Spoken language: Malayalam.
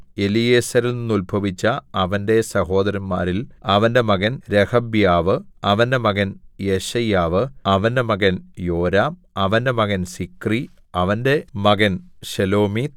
എലീയേസെരിൽനിന്നുത്ഭവിച്ച അവന്റെ സഹോദരന്മാരിൽ അവന്റെ മകൻ രെഹബ്യാവ് അവന്റെ മകൻ യെശയ്യാവ് അവന്റെ മകൻ യോരാം അവന്റെ മകൻ സിക്രി അവന്റെ മകൻ ശെലോമീത്ത്